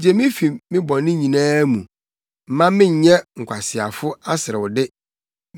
Gye me fi me bɔne nyinaa mu; mma mennyɛ nkwaseafo aserewde.